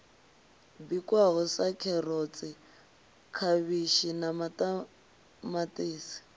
bikwaho sa kherotsi khavhishi maṱamaṱisi